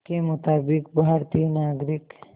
के मुताबिक़ भारतीय नागरिक